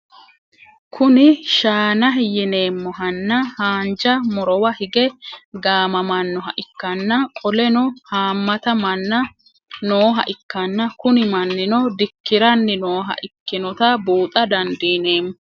Kuni shaanahi yinemohanna hanja murowa hige gamamanoha ikana qoleno hamata manna nooha ikanna Kuni mannino dikiranni nooha ikinota buuxa dandinemo?